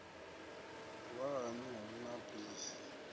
wa haṋu hu na bisi